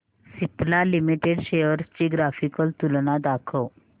Cipla limited shares ची graphical तुलना दाखव